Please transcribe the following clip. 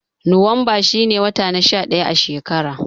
Nowanba shi ne wata na sha ɗaya a shekara.